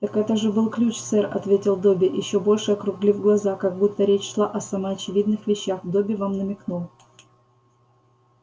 так это же был ключ сэр ответил добби ещё больше округлив глаза как будто речь шла о самоочевидных вещах добби вам намекнул